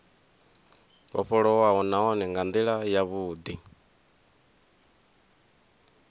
vhofholowaho nahone nga ndila yavhudi